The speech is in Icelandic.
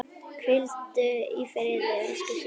Hvíldu í friði elsku systir.